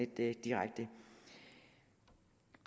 lidt direkte